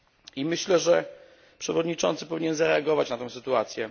I myślę, że przewodniczący powinien zareagować na tą sytuację.